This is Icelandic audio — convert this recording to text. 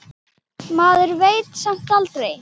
Maður veit samt aldrei.